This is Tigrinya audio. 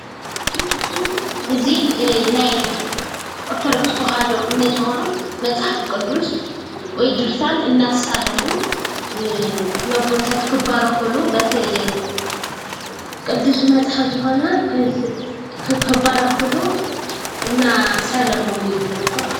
እዚ ናይ ኦርቶዶክስ ተዋህዶ እምነት ዝኮኑ መፅሓፍ ቅዱስ ወይ ድርሳን እናሳለሙ ንኣቦታት ክባረክሉ በቲ ቅዱስ መፅሓፍ ዝኮነ ክባረክሉ እናሳለሞም እዩ ዝርከብ ማለት እዩ።